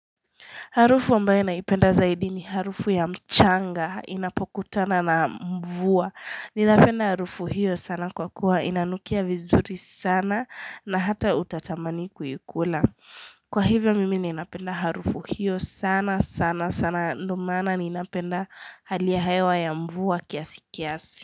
Harufu ambaye naipenda zaidi ni harufu ya mchanga inapokutana na mvua. Ninapenda harufu hiyo sana kwa kuwa inanukia vizuri sana na hata utatamani kuikula. Kwa hivyo mimi ninapenda harufu hiyo sana sana sana ndo maana ninapenda hali ya hewa ya mvua kiasi kiasi.